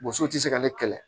Boso tɛ se ka ne kɛlɛ